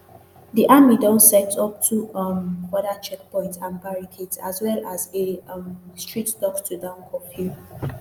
di army don set up two um further checkpoints and barricades as well as a um strict dusktodawn curfew